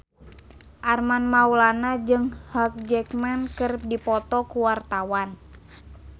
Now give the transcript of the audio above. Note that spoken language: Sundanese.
Armand Maulana jeung Hugh Jackman keur dipoto ku wartawan